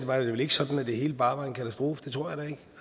var det vel ikke sådan at det hele bare var en katastrofe det tror jeg